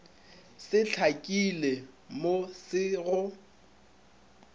se hlakile mo se go